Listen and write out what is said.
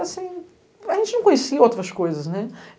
A gente não conhecia outras coisas.